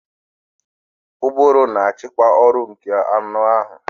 Ụbụrụ na-achịkwa ọrụ nke anụ ahụ